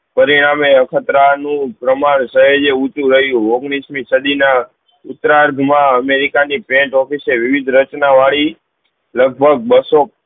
પરિણામે ખાતરા નું પ્રમાણ સહેજે ઉચું રહ્યું ઉઘ્નીશ એ સદી ના ઉતરાધ માં અમેરિકા ની પેન્ટ office વિવિધ રચાનોં વાડી લગ ભગ બસ્સો